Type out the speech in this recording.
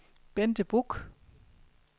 Bente Buch